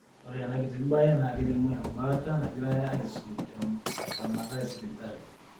ore enakiti mbae na kelimu embaata nangirae aisum tentamata esipitali.